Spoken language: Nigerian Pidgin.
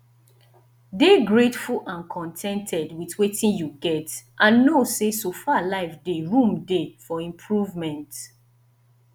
dey greatful and con ten ted with wetin you get and know sey so far life dey room dey for improvement